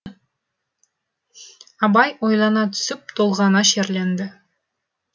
абай ойлана түсіп толғана шерленді